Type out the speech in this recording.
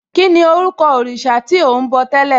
Kíni orúkọ òrìṣà tí ò ń bọ̀ tẹ́lẹ̀?